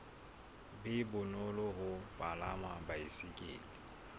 be bonolo ho palama baesekele